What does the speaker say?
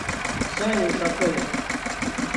сане ушакове